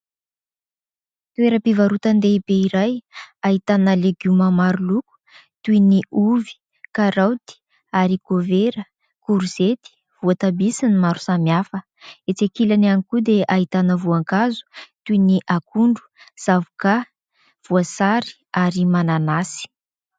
Toeram-pivarotan-dehibe iray ahitana legioma maro loko toy ny ovy, karaoty, arikôvera, korizety, voatabia sy ny maro samihafa. Etsy ankilany ihany koa dia ahitana voankazo toy ny akondro, zavokà, voasary ary mananasy.